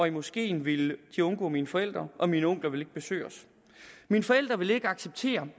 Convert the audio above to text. i moskeen ville undgå mine forældre og mine onkler ville ikke besøge os mine forældre ville ikke acceptere